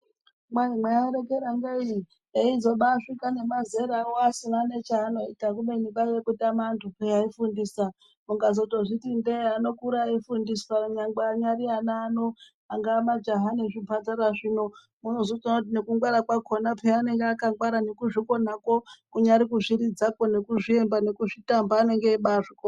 Kwai mwairekera ngei eizobasvika nemazerawo asina nechaanoita kubeni kwaiya kutama antu peya aifundisa. Mukazozviti ndee anokura eifundiswa nyangwe anyari ana ano. Angaa majaha nezvimhandara zvino unotozoona kuti nekungwara kwakhona anenge akangwara. Nekuzvikona kwo kunyari kuzviridza kwo nekuzviemba nekutamba anenge eimbazvikona.